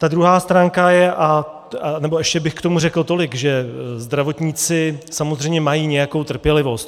Ta druhá stránka je - nebo ještě bych k tomu řekl tolik, že zdravotníci samozřejmě mají nějakou trpělivost.